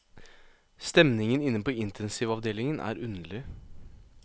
Stemningen inne på intensivavdelingen er underlig.